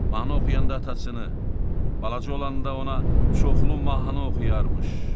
Mahnı oxuyanda atasını, balaca olanda ona çoxlu mahnı oxuyarmış.